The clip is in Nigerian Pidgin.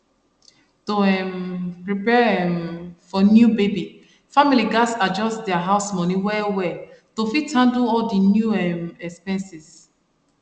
to um prepare um for new baby family gats adjust their house money well well to fit handle all di new um expenses